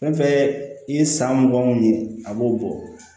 Fɛn fɛn i ye san mugan mun ɲini a b'o bɔ